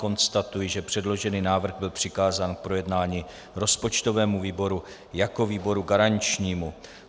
Konstatuji, že předložený návrh byl přikázán k projednání rozpočtovému výboru jako výboru garančnímu.